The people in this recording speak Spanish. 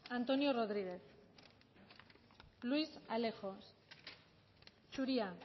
antonio rodriguez luis alejos zuria